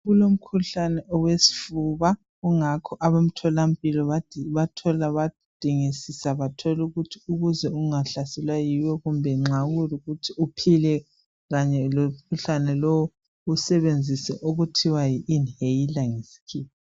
Kulomkhuhlane wesifuba, ingakho abemtholampilo badingisisa bathola ukuthi ukuze ungahlaselwa yiwo kumbe nxa kuyikuthi uphile kanye lomkhuhlane lo usebenzise okuthiwa yi inhailer ngesikhiwa.